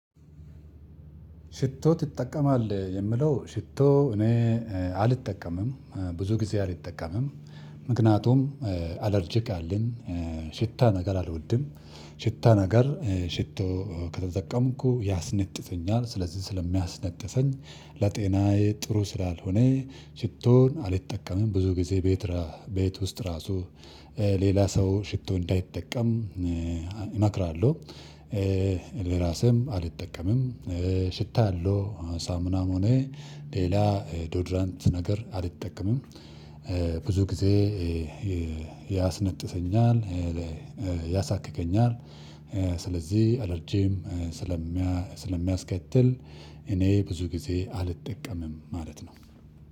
ሽቶ? ትጠቀማለህ የምለው ሽቶ እኔ አልጠቀምም ብዙ ጊዜ አልጠቀምም ምክንያቱም አለርጅክ አለኝ። ሽታ ነገር አልወድም ሽታ ነገር ሽቶ ከተጠቀምኩ ያስነጥሰኛል። ስለዚህ ስለሚያስነጥሰኝ ለጤናዬ ጥሩ ስላልሆነ። ሽቶን አልጠቀመም ብዙ ጊዜ ቤት ቤት ውስጥ ራሱ ሌላ ሰው ሽቶ እንዳይጠቀም። እመክራለሁ ለራሴም አልጠቀምም። ሽታ አለው ሳሙናም ሆነ ሌላ ዶድራንት ነገር አልጠቀምም። ብዙ ጊዜ ያስነጥሰኛል ያሳክከኛል። ስለዚህ አለርጂም ስለሚያስከትል እኔ ብዙ ጊዜ አልጠቀምም ማለት ነው።